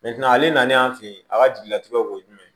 ale nan'an fɛ yen a ka jigilatigɛw ye jumɛn ye